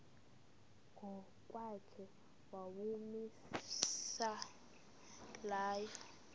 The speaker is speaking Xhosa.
ngokwakhe owawumise layo